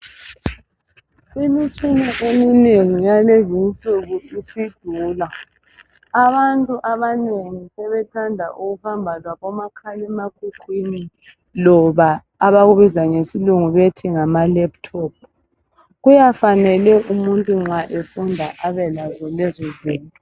Imitshina eminengi yalezinsuku isidula. Abantu abanengi sebethanda ukuhamba labomakhalemakhukhwini loba abakubiza ngesilungu bethi yi laptop. Kuyafanele umuntu ma efunda abelazo zinto.